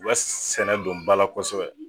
U ka sɛnɛ don bal a kosɛbɛ